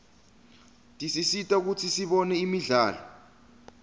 tisisita kutsi sibone imidlalo